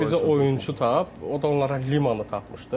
Ki bizə oyunçu tap, o da onlara Limanı tapmışdı.